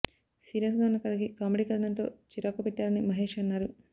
serious గా ఉన్న కథకి కామెడీ కథనంతో చికాకుపెట్టారని మషేష్ అన్నారు